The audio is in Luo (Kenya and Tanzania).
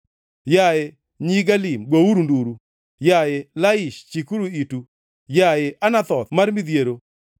Yaye, nyi Galim, gouru nduru! Yaye, Laish chikuru itu! Yaye, Anathoth mar midhiero!